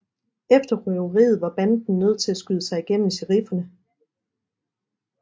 Efter røveriet var banden nødt til at skyde sig gennem sherifferne